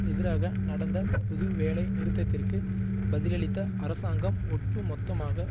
எதிராக நடந்த பொது வேலை நிறுத்தத்திற்கு பதிலளித்த அரசாங்கம் ஒட்டு மொத்தமாக